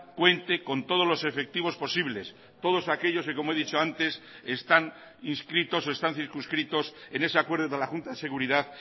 cuente con todos los efectivos posibles todos aquellos que como he dicho antes están inscritos o están circunscritos en ese acuerdo de la junta de seguridad